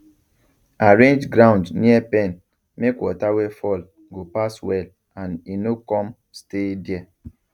arrange ground near pen make water wey fall go pass well and e no come stay there